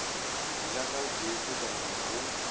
go ja ka boitekanelo go